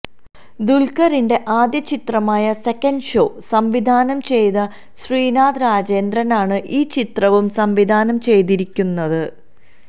ദുല്ഖറിന്റെ ആദ്യ ചിത്രമായ second show സംവിധാനം ചെയ്ത ശ്രീനാഥ് രാജേന്ദ്രന് ആണ് ഈ ചിത്രവും സംവിധാനം ചെയ്തിരിക്കുന്നത്